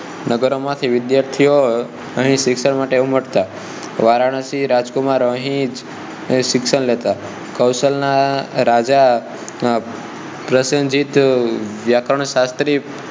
નગરો માંથી વિદ્યાર્થીઓ અહીં શિક્ષણ માટે ઉમળતા વારાણસી રાજકુમાર અહીં શિક્ષણ લેતા કૌશલ ના રાજા પ્રસેન્જીતએ અને વ્યાકરણશાસ્ત્રી